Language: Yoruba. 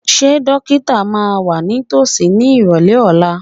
Ṣé dókítà máa wà ní tòsí ní ìrọ̀lẹ́ ọ̀la?